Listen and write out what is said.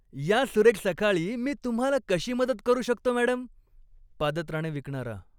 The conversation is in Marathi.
या सुरेख सकाळी मी तुम्हाला कशी मदत करू शकतो, मॅडम? पादत्राणे विकणारा